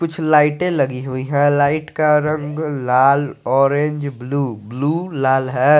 कुछ लाइटें लगी हुई हैं लाइट का रंग लाल ऑरेंज ब्लू ब्लू लाल है।